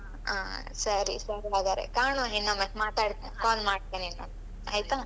ಹ ಸರಿ ಸರಿ ಹಾಗಾದ್ರೆ ಕಾಣುವ ಇನ್ನೊಮ್ಮೆ ಮಾತಾಡ್ತೆ call ಮಾಡ್ತೇನೆ ಇನ್ನೊಮ್ಮೆ ಆಯ್ತಾ?